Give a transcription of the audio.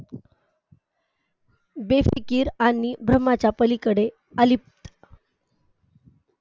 बेफिकीर आणि भ्रमाच्या पलीकडे अलिप्त